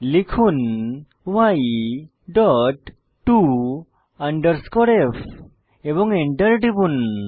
লিখুন y dot to f এবং enter টিপুন